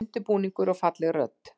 Undirbúningur og falleg rödd